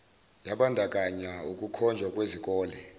yabandakanya ukukhonjwa kwezikole